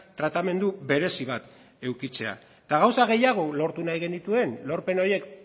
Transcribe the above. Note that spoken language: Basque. tratamendu berezi bat edukitzea eta gauza gehiago lortu nahi genituen lorpen horiek